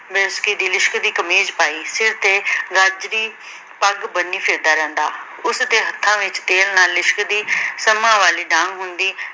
ਦੀ ਲਿਸ਼ਕਦੀ ਕਮੀਜ ਪਾਈ, ਸਿਰ ਤਾ ਗਾਜਰੀ ਪੱਗ ਬੰਨੀ ਫਿਰਦਾ ਰਹਿੰਦਾ। ਉਸਦੇ ਹੱਥਾਂ ਵਿਚ ਤੇਲ ਨਾਲ ਲਿਸ਼ਕਦੀ ਸੰਮਾਂ ਵਾਲੀ ਡਾਂਗ ਹੁੰਦੀ।